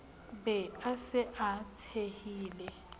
be a se a betsehile